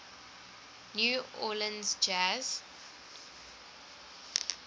new orleans jazz